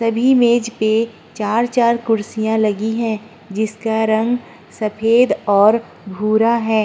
सभी मेज पे चार-चार कुर्सियाँ लगी हैं। जिसका रंग सफेद और भूरा है।